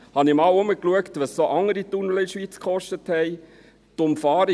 Ich habe einmal geschaut, was andere Tunnel in der Schweiz gekostet haben: